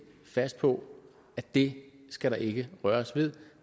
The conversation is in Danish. fast på at det skal der ikke røres ved